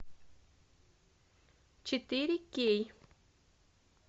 четыре кей